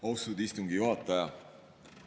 Austatud istungi juhataja!